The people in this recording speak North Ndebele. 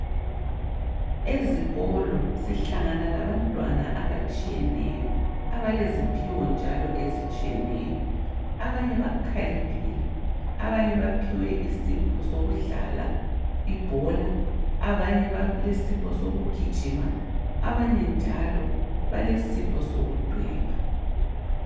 Ezikolo, sihlangana labantwana abatshiyeneyo abaleziphiwo njalo ezitshiyeneyo . Abanye bakhaliphile, abanye baphiwe isipho sokudlala ibhola, abanye balesipho sokugijima. Abanye njalo balesipho sokudweba.